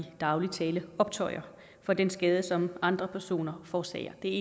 daglig tale optøjer for den skade som andre personer forårsager det er